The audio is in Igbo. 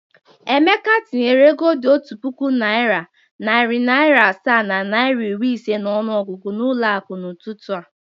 Emeka tinyere ego dị otu puku naịra, narị naịra asaa na naịra iri ise n’ọnụọgụgụ n’ụlọ akụ n’ụtụtụ a.